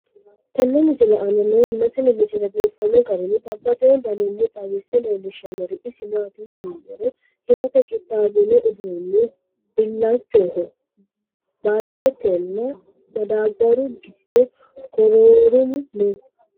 tenne misile aana noorina tini misile biiffanno garinni babaxxinno daniinni xawisse leelishanori isi maati yinummoro hiratte qixaawinno uduunni. Bilachchoho, balidettenna madaabaru giddo koroorimmu noo